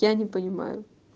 я не понимаю